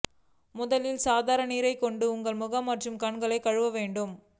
முதலில் சாதாரண நீர் கொண்டு உங்கள் முகம் மற்றும் கண்களை கழுவ வேண்டும்